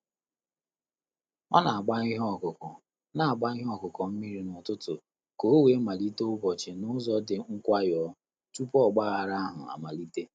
Ọ́ nà-àgbá ìhè ọ́kụ́kụ́ nà-àgbá ìhè ọ́kụ́kụ́ mmìrí n’ụ́tụ́tụ̀ kà ọ́ wèé màlíté ụ́bọ́chị̀ n’ụ́zọ́ dị́ nkwáyọ̀ọ́ túpù ọ́gbà ághára áhụ́ àmàlị̀tè.